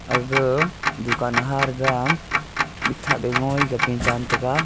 aga a dukan haraga mikthap pe ngoi gape jan tega.